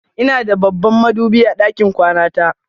Ina da babban madubi a ɗakin kwana ta.